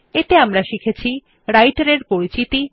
এতে আমরা শিখেছি রাইটের এর পরিচিতি